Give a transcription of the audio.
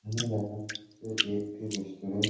এখানে দেখা যাচ্ছে এটি একটি রেস্টোরান্ট ।